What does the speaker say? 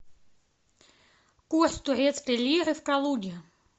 курс турецкой лиры в калуге